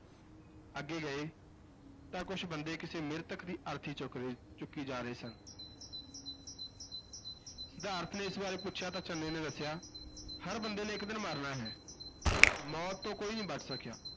ਅੱਗੇ ਗਏ ਤਾਂ ਕੁੱਝ ਬੰਦੇ ਕਿਸੇ ਮ੍ਰਿਤਕ ਦੀ ਅਰਥੀ ਚੁੱਕ ਰਹੇ ਚੁੱਕੀ ਜਾ ਰਹੇ ਸਨ ਸਿਧਾਰਥ ਨੇ ਇਸ ਬਾਰੇ ਪੁਛਿਆ ਤਾਂ ਚੰਨੇ ਨੇ ਦੱਸਿਆ, ਹਰ ਬੰਦੇ ਨੇ ਇਕ ਦਿਨ ਮਰਨਾ ਹੈ, ਮੌਤ ਤੋਂ ਕੋਈ ਨਹੀਂ ਬਚ ਸਕਿਆ।